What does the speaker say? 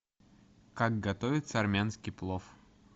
как готовится армянский плов